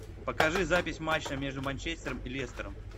покажи запись матча между манчестером и лестером